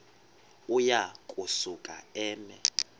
uya kusuka eme